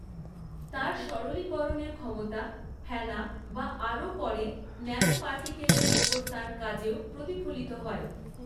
তাঁর সরলীকরণের ক্ষমতা, ফেনা বা আরও পরে, ন্যানো পার্টিকলের ওপর তাঁর কাজেও প্রতিফলিত হয়।